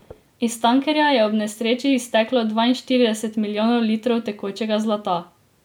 Iz tankerja je ob nesreči izteklo dvainštirideset milijonov litrov tekočega zlata.